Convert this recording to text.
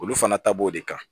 Olu fana ta b'o de kan